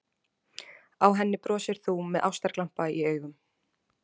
Á henni brosir þú með ástarglampa í augum.